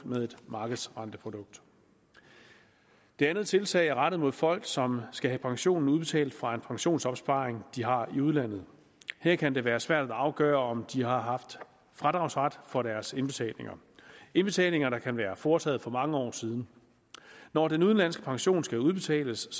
med et markedsrenteprodukt det andet tiltag er rettet mod folk som skal have pensionen udbetalt fra en pensionsopsparing de har i udlandet her kan det være svært at afgøre om de har haft fradragsret for deres indbetalinger indbetalinger der kan være foretaget for mange år siden når den udenlandske pension skal udbetales